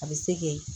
A bɛ se k'e